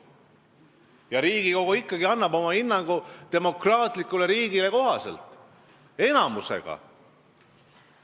Ja Riigikogu ikkagi annab demokraatlikule riigile kohaselt oma hinnangu enamuse häältega.